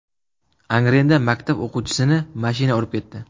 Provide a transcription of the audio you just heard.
Angrenda maktab o‘quvchisini mashina urib ketdi.